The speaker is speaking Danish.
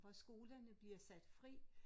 Hvor skolerne bliver sat fri